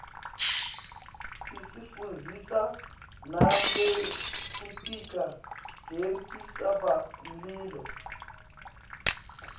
isifundzisa nangekfnticka kuetintsaba mlilo